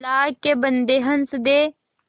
अल्लाह के बन्दे हंस दे